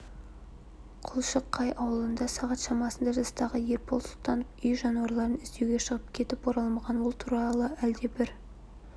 құлшықай ауылында сағат шамасында жастағы ербол сұлтанов үй жануарларын іздеуге шығып кетіп оралмаған ол туралы әлдебір